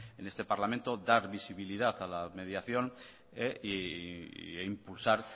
en este parlamento dar visibilidad a la mediación e impulsar